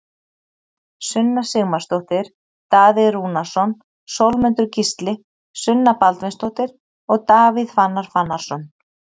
Sunna Sigmarsdóttir, Daði Rúnarsson, Sólmundur Gísli, Sunna Baldvinsdóttir og Davíð Fannar Fannarsson